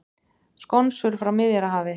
Skonsur frá Miðjarðarhafi